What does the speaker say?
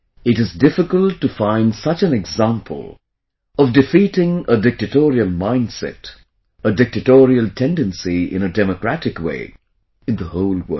It is difficult to find such an example of defeating a dictatorial mindset, a dictatorial tendency in a democratic way, in the whole world